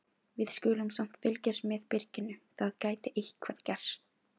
Við skulum samt fylgjast með byrginu, það gæti eitthvað gerst.